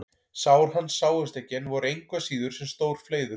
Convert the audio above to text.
Sár hans sáust ekki en voru engu að síður sem stór fleiður.